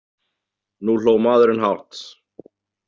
Nú hló maðurinn hátt.